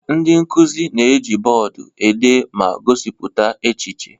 Ndị nkuzi na-eji bọọdụ ede ma gosipụta echiche.